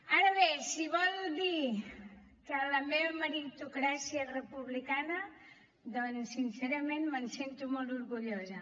ara bé si vol dir que la meva meritocràcia és republicana doncs sincerament me’n sento molt orgullosa